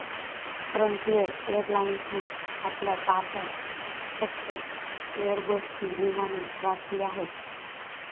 Frontier एअरलाइन्सने आपल्या ताफ्यात फक्त एयरबसची विमाने राखिली आहेत.